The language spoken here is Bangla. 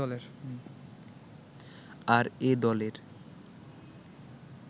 আর এ দলের